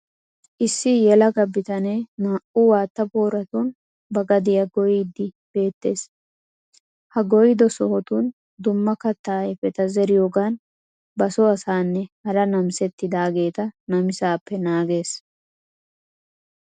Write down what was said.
Issi yelaga bitanee naa"u waatta booratun ba gadiya goyiyagee beettees. Ha goyido sohotun dumma kattaa ayifeta zeriyogaan ba so asaanne hara namisettidaageeta namisaappe naagees